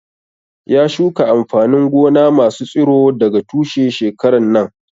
Ya shuka amfanin gona masu tsiro daga tushe shekaran nan